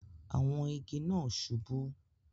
Àwọn igi náà subú